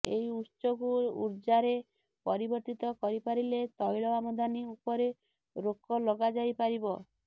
ଏହି ଉତ୍ସକୁ ଉର୍ଜାରେ ପରିବର୍ତ୍ତିତ କରିପାରିଲେ ତୈଳ ଆମଦାନୀ ଉପରେ ରୋକ ଲଗାଯାଇ ପାରିବ